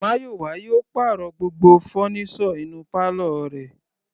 Mayowa yóò pàrọ̀ gbogbo fọ́nísọ̀ inú pálọ̀ rẹ̀.